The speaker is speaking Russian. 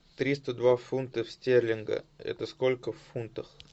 триста два фунта стерлинга это сколько в фунтах